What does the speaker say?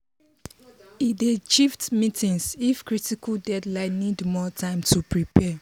e dey shift meetings if critical deadline need more time to prepare.